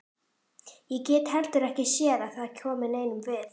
Ég get heldur ekki séð að það komi neinum við.